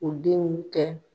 O den kɛ